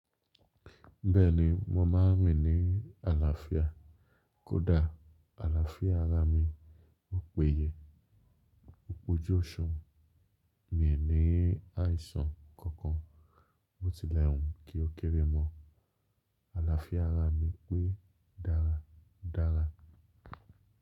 Bẹ́ẹ̀ni mo má a ń rìn ní àlàáfíà kódà àlàáfíà ara mi ò péye. O pojú ọ̀ṣun mí è ní àìsàn kankan, bó tilẹ̀ hùn kí ó kéré mọ. Àlàáfíà ara mi pé dára dára.